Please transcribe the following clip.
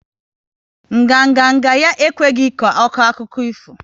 Nganga nga ya agaghi ekwe ko akụkọ ifo